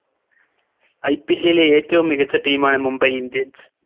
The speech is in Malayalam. IPL ലെ ഏറ്റവും മികച്ച Team ആണ് Mumbai indians